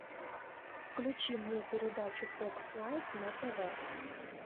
включи мне передачу фокс лайф на тв